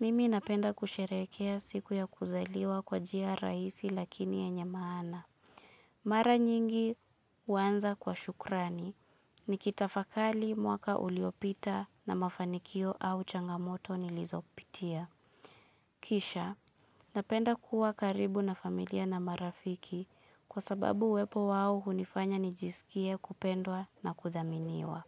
Mimi napenda kusherehekea siku ya kuzaliwa kwa jia rahisi lakini yenye maana. Mara nyingi uwanza kwa shukrani, nikitafakali mwaka uliopita na mafanikio au changamoto nilizopitia. Kisha, napenda kuwa karibu na familia na marafiki kwa sababu uwepo wao hunifanya nijisikie kupendwa na kuthaminiwa.